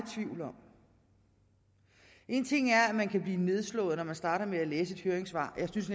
tvivl om en ting er at man kan blive nedslået når man starter med at læse et høringssvar og jeg synes